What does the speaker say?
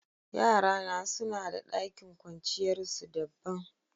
Yara na suna da dakin kwanciyar su dabban.